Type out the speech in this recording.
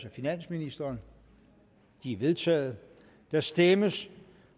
af finansministeren de er vedtaget der stemmes